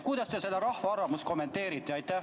Kuidas te seda rahva arvamust kommenteerite?